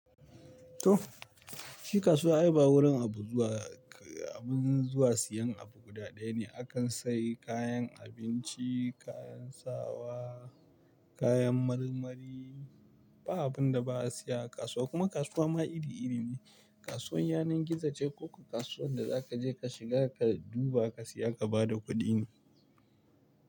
To shi kasuwa ay ba wurin abu zuwa, abun zuwa siyan abu guda ɗaya ne. Akan sayi kayan abinci, kayan sawa, kayan marmari ba abin da ba a siya a kasuwa kuma kasuwa ma iri iri ne. Kasuwan yanar gizo ce ko kasuwan da za ka je ka shiga ka duba ka siya ka bada kuɗi ne.